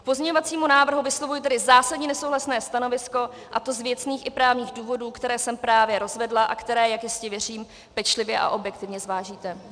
K pozměňovacímu návrhu vyslovuji tedy zásadní nesouhlasné stanovisko, a to z věcných i právních důvodů, které jsem právě rozvedla, a které, jak jistě věřím, pečlivě a objektivně zvážíte.